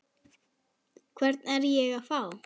Hvern er ég að fá?